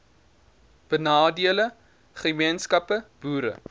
benadeelde gemeenskappe boere